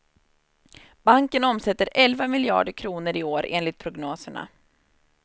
Banken omsätter elva miljarder kronor i år enligt prognoserna.